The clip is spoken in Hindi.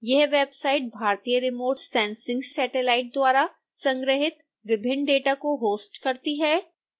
यह वेबसाइट भारतीय रिमोट सेंसिंग सेटेलाइट द्वारा संग्रहीत विभिन्न डेटा को होस्ट करती है